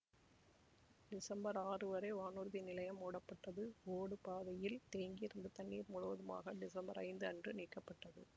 December ஆறு வரை வானூர்தி நிலையம் மூடப்பட்டது ஓடுபாதையில் தேங்கியிருந்த தண்ணீர் முழுவதுமாக டிசம்பர் ஐந்து அன்று நீக்கப்பட்டது